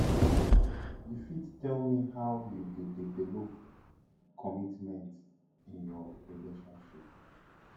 you fit tell me how you dey develop commitment in your relationship